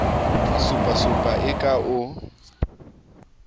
a supasupa e ka o